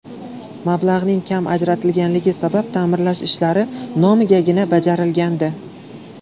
Mablag‘ning kam ajratilganligi sabab ta’mirlash ishlari nomigagina bajarilgandi.